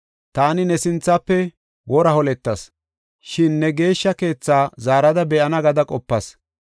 ‘Taani ne sinthafe wora holetas, Shin ne Geeshsha Keetha zaarada be7ana’ gada qopas.